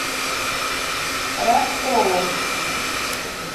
ростову